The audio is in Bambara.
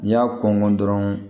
N'i y'a kɔn dɔrɔn